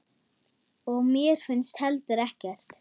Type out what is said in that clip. Og mér finnst heldur ekkert.